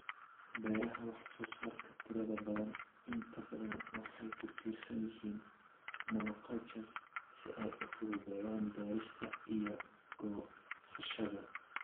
Beeraha wax soo saarka tirada badan inta badan waxay ku tiirsan yihiin monocultures si ay u fududeeyaan beerista iyo goosashada.